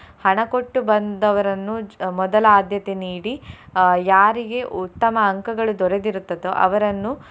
ಹಣ ಕೊಟ್ಟು ಬಂದವರನ್ನು ಅಹ್ ಮೊದಲ ಆಧ್ಯತೆ ನೀಡಿ ಅಹ್ ಯಾರಿಗೆ ಉತ್ತಮ ಅಂಕಗಳು ದೊರಕಿರುತ್ತದೋ ಅವರನ್ನು.